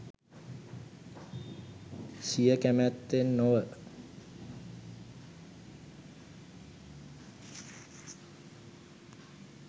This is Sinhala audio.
සිය කැමැත්තෙන් නොව